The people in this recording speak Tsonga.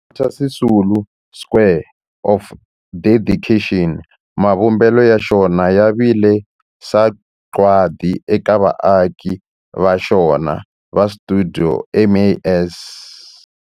Walter Sisulu Square of Dedication, mavumbelo ya xona ya vile sagwadi eka vaaki va xona va stuidio MAS.